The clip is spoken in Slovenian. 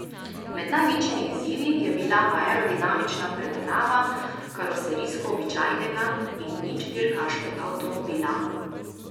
Med največjimi izzivi je bila aerodinamična predelava karoserijsko običajnega in nič dirkaškega avtomobila.